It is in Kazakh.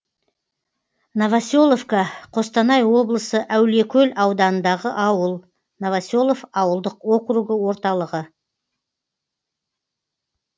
новоселовка қостанай облысы әулиекөл ауданындағы ауыл новоселов ауылдық округі орталығы